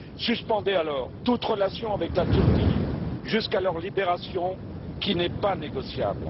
Suspendez alors toute relation avec la Turquie jusqu'à leur libération, qui n'est pas négociable.